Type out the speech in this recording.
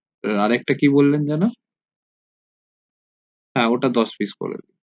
আরেক টা কি বললেন যেন হ্যা ওটা দশ price করে দেন